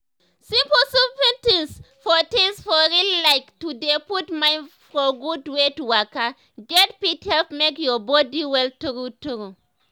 simple simple tins for tins for real like to dey put mind for gud wey to waka get fit help make your body well true true.